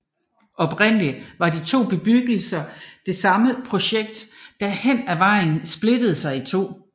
Oprindelig var de to bebyggelser det samme projekt der hen af vejen splittede sig i to